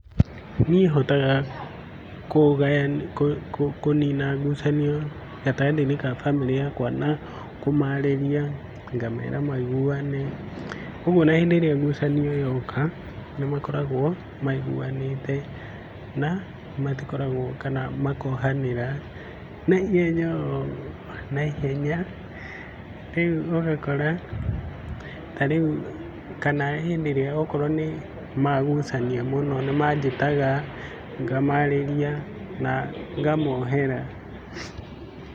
Niĩ hotaga kũnina ngucanio gatagatĩ ya famĩlĩ yakwa na kũmarĩria, kũmera maiguane kwoguo ona rĩrĩa ngucanio yoka nĩ makoragwo maiguanĩte na kana makohanĩra, na ihenya na ihenya, rĩu ũgakora ta rĩu rĩrĩa magucania mũno nĩ manjĩtaga ngamarĩria na ngamohera.